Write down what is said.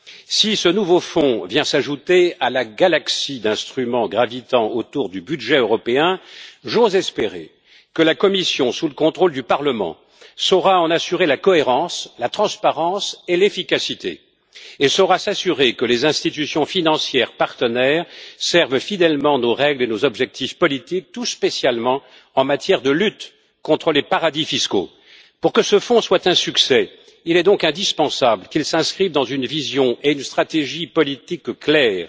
Si ce nouveau fonds vient s'ajouter à la galaxie d'instruments gravitant autour du budget européen, j'ose espérer que la Commission, sous le contrôle du Parlement, saura en assurer la cohérence, la transparence et l'efficacité et saura s'assurer que les institutions financières partenaires servent fidèlement nos règles et nos objectifs politiques, tout spécialement en matière de lutte contre les paradis fiscaux. Pour que ce fonds soit un succès, il est donc indispensable qu'il s'inscrive dans une vision et une stratégie politique claires.